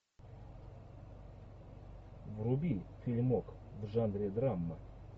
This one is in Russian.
вруби фильмок в жанре драмы